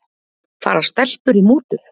Fara stelpur í mútur?